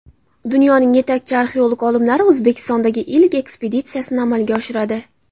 Dunyoning yetakchi arxeolog olimlari O‘zbekistondagi ilk ekspeditsiyasini amalga oshiradi.